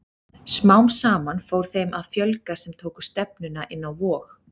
Smám saman fór þeim að fjölga sem tóku stefnuna inn á Vog.